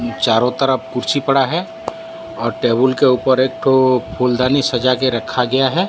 चारों तरफ कुर्सी पड़ा है और टेबल के ऊपर एक ठो फूलदानी सजा के रखा गया है।